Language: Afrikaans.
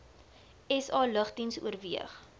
sa lugdiens oorweeg